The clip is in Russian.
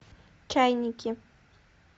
чайники